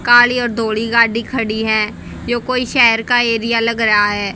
काली और दौड़ी गाड़ी खड़ी है ये कोई शहर का एरिया लग रहा है।